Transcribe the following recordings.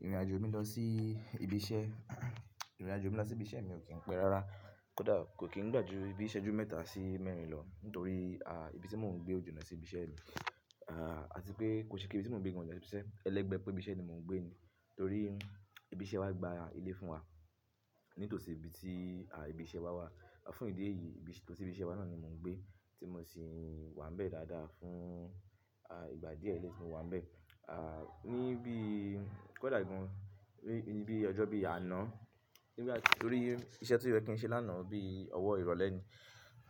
Ìrìnàjò mi lọ sí ibi iṣẹ́, ìrìnàjò mi lọ sí ibi iṣẹ́ mi ò kí ń pẹ́ rárá. Kódà, kò kí ń gbà ju bi ìṣẹ́jú mẹ́ta sí mẹ́rin lọ, nítorí ibi tí mò ń gbé ò jìnà sí ibi iṣẹ́ mi. À tí pé kò ṣe pe ibi tí mò ń gbé gan náà sẹ sí ibi iṣẹ́. Ẹlẹ́gbẹ̀ẹ́ pé ibi iṣẹ́ ni mò ń gbé ni, torí ibi iṣẹ́ wa gba ilé fún wa. Nítòsí ibi tí à ibi iṣẹ́ wa wà. Fún ìdí èyí, itòsí ibi iṣẹ́ wa náà ni mò ń gbé tí mo sì wà níbẹ̀ dáadáa fún ìgbà díẹ̀ ẹleyi tí mo wà ń bẹ̀. Ní bí, kò dà gan ní bí i ọjọ́ bí i àná. Nígbà tí, torí iṣẹ́ tí ó yẹ kí n ṣe lánàá bíi ọwọ́ ìrọ̀lẹ́ ni,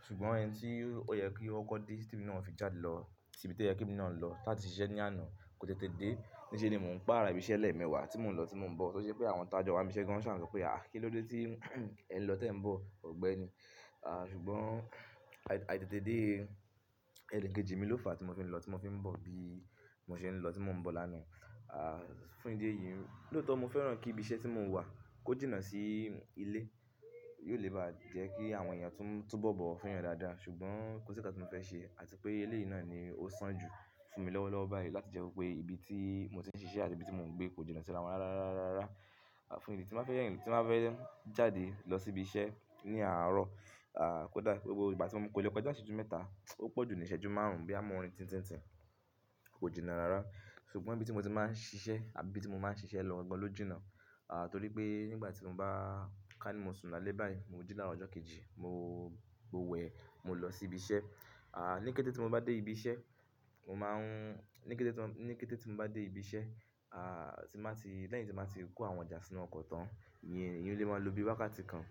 ṣùgbọ́n ẹni tí ó yẹ kí ó kọ́ dé temi náà òfi jáde lọ sí ibi tí ó yẹ kí èmi naa lọ láti ṣiṣẹ́ ní àná kò tètè dé. Níṣe ni mò ń pààrà ibi iṣẹ́ lẹ́mẹ̀ẹ̀wà tí mò ń lọ tí mò ń bọ̀. To ṣe wipé àwọn tajọ waa n bi iṣẹ́ gan ṣà n so pé àh ah, kí ló dé, tí ẹ ń lọ tí ẹ ń bọ̀? Ò gbẹ́ni. Sùgbọ́n, àìtètè dé ẹnikejì mi ló fà tí mo fi ń lọ tí mo fi ń bọ̀ bí mò ṣe ń lọ tí mò ń bọ̀ lánàá. Fún ìdí èyí, lóòótọ́ mo fẹ́ràn kí ibi iṣẹ́ tí mò wà kó jìnà sí ilé. Yi ò lè bá jẹ́ kí àwọn èèyàn túnbo bowo fún èèyàn dáadáa. Ṣùgbọ́n, kò sí ǹkan tí mo fẹ́ ṣe àti pé ilé yìí náà ni ó sàn jù fún mi lọ́wọ́lọ́wọ́ báyìí láti jẹ́ wipé ibi tí mò ti ń siṣẹ́ àti ibi tí mò ń gbé kò jìnà sí ara wọn rárá, rárá, rárá. Tí ń bá fẹ́ jáde lọ sí ibi iṣẹ́ ní àárọ̀. À kódà, kó le koja ìṣẹ́jú mẹ́ta, ó pọ̀jù ní ìṣẹ́jú márùn-ún bo ya mọ n rin tin tin tin. Kò jìnà rárá. Ṣùgbọ́n ibi tí mò ti máa ń ṣiṣẹ́ àbí ibi tí mò máa ń ṣiṣẹ́ lọ gangan ló jìnà. Torí pé nígbà tí mò bá, kà ní mò sùn àlé báyìí, mò jì ni aaro ọjọ́ kejì, mò wẹ, mò lọ sí ibi iṣẹ́. Ni kété tí mò bá dé ibi iṣẹ́, lẹ́yìn tí màá ti kó àwọn ọjà sínú ọkọ̀ tán, ìyẹn, èèyàn lè máa lo bí wákàtí kan.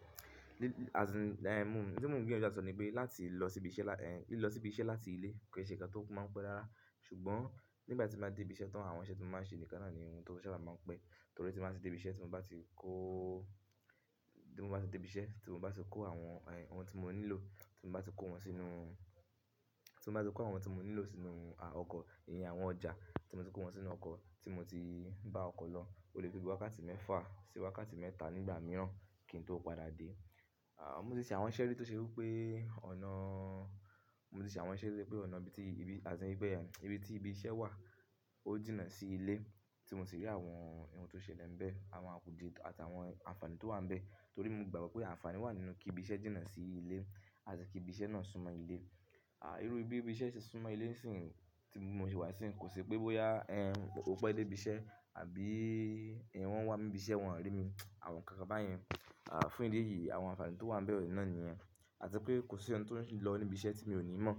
Ohun ti mo ń gbiyanju láti so ni wipe, lílọ sí ibi iṣẹ́ láti ilé kì í ṣe ǹkan tó máa ń pẹ́ rara Ṣùgbọ́n, nígbà tí bàa dé ibi iṣẹ́ tán, àwọn iṣẹ́ tí mò màa n ṣe nìkan náà ni ohun sábà máa ń pẹ́. Torí tí màá ti dé ibi iṣẹ́ tí mò bá ti kó, tí mò bá ti dé ibi iṣẹ́, tí mò bá ti kó àwọn ohun tí mò nílò tí mò bá ti kó wọn sínú, tí mò bá ti kó àwọn ohun tí mò nílò sínú ọkọ̀, ìyẹn àwọn ọjà tí mò ti kó wọn sínú ọkọ̀ tí mò ti bá ọkọ̀ lọ, ó lè to bi wákàtí mẹ́fà sí wákàtí mẹ́ta nígbà mìíràn kí n tó padà dé. Mo ti ṣe àwọn iṣẹ́ rí tó ṣe wí pé, ibi tí ibi iṣẹ́ wà, ó jìnà sí ilé tí mò sì rí àwọn ohun tó ṣelè ní bẹ́ẹ̀, àwọn àpòdí àti àwọn àǹfààní tó wà níbẹ̀. Torí mo gbàgbọ́ pé àǹfààní wà nínú kí ibi iṣẹ́ jìnà sí ilé àti kí ibi iṣẹ́ náà súnmọ́ ilé. Irú bí ibi iṣẹ́ ṣe súnmọ́ ilé ńi sìn yi, tí mò ṣe wà sì yìí, kò ṣi pé bóyá ẹh, ò pẹ́ dé ibi iṣẹ́ àbí ẹh, wọ́n wá mi ní ibi iṣẹ́ wọ́n rí mi. Àwọn ǹkan kan bá yẹn. Fún ìdí èyí, àwọn àǹfààní tó wà níbẹ̀ náà nìyẹn. Àti pé kò sí ọ̀un tió ń lọ ní ibi iṣẹ́ tí mi ò ní mọ̀.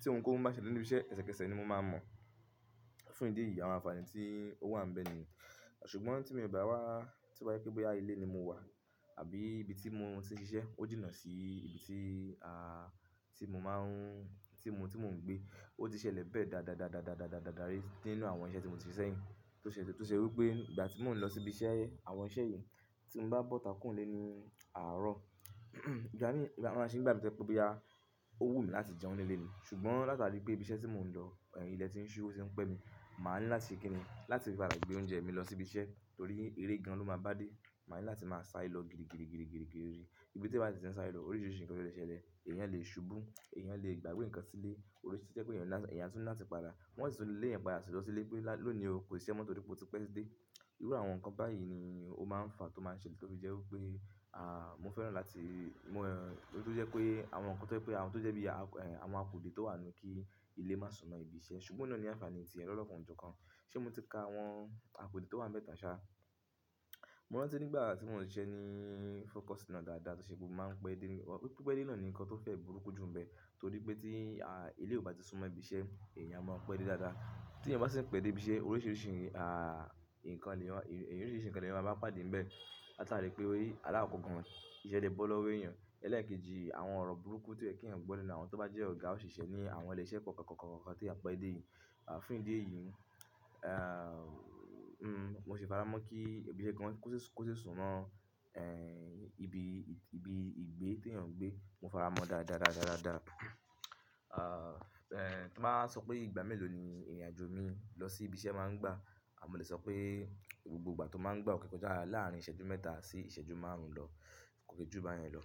Tí ohun kohun bá ṣelè ní ibi iṣẹ́, ẹsẹkẹsẹ ni mò máa mọ̀. Fún ìdí èyí, àwọn àǹfààní tí ó wà níbẹ̀ ni yen. Ṣùgbọ́n tí mo bá wá, to ba jẹ wipé bóyá ilé ni mò wà àbí ibi tí mò ti ń ṣe iṣẹ́ ó jìnà sí ibi tí à tí mò máa ń, tí mò ń gbé, ó ti ṣẹlẹ̀ bẹ́ẹ̀ dáadaa rii nínú àwọn iṣẹ́ tí mò ti ṣe sẹ́yín. Tó ṣe wí pé ìgbà tí mò ń lọ sí ibi àwọn iṣẹ́ yìí, tí mò bá bọ́ta kuro ni ilé ní àárọ̀. Ìgbà mí, a máa se mí bi pé bóyá ó wù mí láti jẹun nílé ni. Ṣùgbọ́n látàrí pé ibi iṣẹ́ tí mò ń lọ, ilẹ̀ tí ń ṣú, ó ti ń pẹ́ mi, màá ní láti se kíni, láti pa da gbẹ oúnjẹ mi lọ sí ibi iṣẹ́ torí eré gan lọ máa bá dé. Màá ní láti máa sáré lọ gidigidii Ibi tí èèyàn bá si ti ń sáré lọ, oríṣiríṣi nǹkan lo lè ṣẹlẹ́. Ẹ̀yàn lè ṣubú, ẹ̀yàn lè gbàgbé nǹkan sílé. Oríṣiríṣi to jẹ wipé ẹ̀yàn a tún ni latí padà. Wọ́n sì tún lé le èèyàn padà lọ sílé pé lónìí o, kò sísẹ́ mó torí pé o ti pẹ́ dé. Irú àwọn nǹkan báyìí ni ó máa ń fà tó máa ṣele ti ó fi jẹ́ wí pé awon nǹkan tó jẹ́ pé àwọn tó jẹ́ bí i àwọn àpòdí tó wà nù kí ilé má súnmọ́ ibi iṣẹ́. Ṣùgbọ́n òhun náà ní àǹfààní ti ẹ̀ lọ́kàn oju kan. Ṣé mò ti ka àwọn àpòdí tó wà níbẹ̀ tán ṣá? Mo rántí ní ìgbà àti mò ń ṣe iṣẹ́ ní fọ́kọ́sì náà dáadáa tó ṣe pé mo máa ń pẹ́ dé ní, pipẹ dé náà ni nǹkan tó fẹ́ burúkú jù níbẹ̀. Torí pé tí à ilé ò bá ti súnmọ́ ibi iṣẹ́, èèyàn a máa pẹ́ dé dáadáa. Tí èèyàn bá sì ń pẹ́ dé ibi iṣẹ́, oríṣiríṣi nǹkan ni èèyàn máa bá pàdé níbẹ̀. Látàrí pé alákọ̀ọ́kan ìṣẹ̀ le bọ́ lọ́wọ́ èèyàn. Ẹlẹ́ẹ̀kejì, àwọn ọ̀rọ̀ burúkú tí ó yẹ kí èèyàn gbo lenu àwọn tó bá jẹ́ ọ̀gá òṣìṣẹ́ ní àwọn ilé iṣẹ́ kọ̀ọ̀kàn, kọ̀ọ̀kàn tí èèyàn pẹ́ dé yìí. À fún ìdí èyí, Mò ṣi faramọ́ kí ibi iṣẹ́ gan kó ṣi súnmọ́ ibi igbe tí èèyàn gbé, mò fara mo dáadáa. Ibi, ibi ìgbé tí èè.